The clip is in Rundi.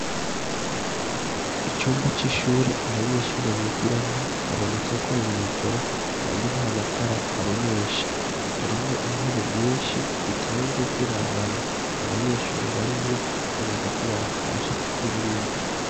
icumba c'ishure abanyeshure bigiramwo haboneka ko ari mw'ijoro kandi nta matara abonesha harimwo intebe nyinshi zitonze zirabana nta banyeshuri barimwo twibaza ko batashe kuko burije